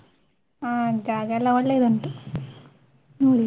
ಆ ಜಾಗ ಎಲ್ಲ ಒಳ್ಳೆದುಂಟು ಹ್ಮ್‌.